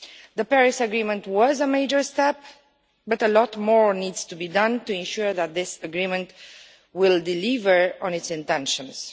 The Paris Agreement was a major step, but a lot more needs to be done to ensure that this agreement will deliver on its intentions.